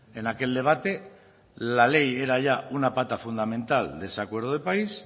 en aquel debate la ley era ya una pata fundamental de ese acuerdo de país